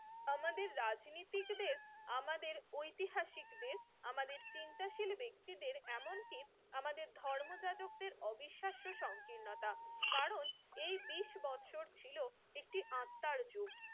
আমাদের রাজনীতিক দেশ আমাদের ঐতিহাসিক দেশ আমাদের চিন্তাশীল ব্যাক্তিদের এমনকি আমাদের ধর্ম যাজক দের অবিশাস্য সংকীর্ণতা কারন এই বিশ ছিল একটি আত্নার যুগ